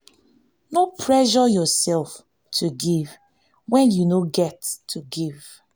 no pressure yourself to give when you no get to give